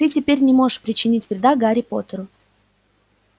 ты теперь не можешь причинить вреда гарри поттеру